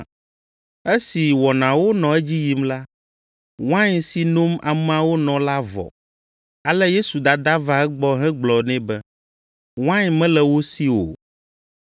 Esi wɔnawo nɔ edzi yim la, wain si nom ameawo nɔ la vɔ. Ale Yesu dada va egbɔ hegblɔ nɛ be, “Wain mele wo si o.”